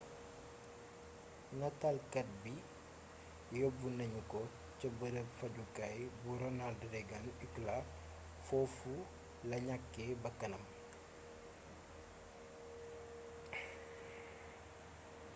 nataalkaat bi yóbu nañu ko ca bërëb fajjukaay bu ronald reagan ucla fofula ñakke bàkkanam